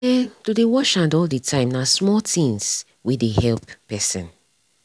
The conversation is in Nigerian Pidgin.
eh to dey wash hand all the time nah small things wey dey help pesin.